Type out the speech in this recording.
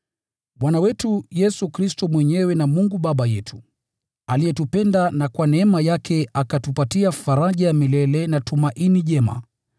Bwana wetu Yesu Kristo mwenyewe na Mungu Baba yetu, aliyetupenda na kwa neema yake akatupatia faraja ya milele na tumaini jema,